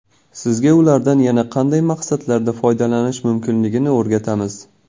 Sizga ulardan yana qanday maqsadlarda foydalanish mumkinligini o‘rgatamiz.